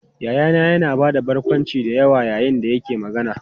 Yayana yana ba da barkwanci da yawa yayin da yake magana.